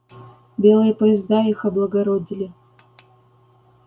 белые поезда их облагородили